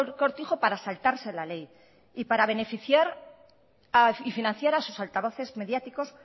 cortijo para saltarse la ley y para beneficiar y financiar a sus altavoces mediáticos